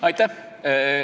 Aitäh!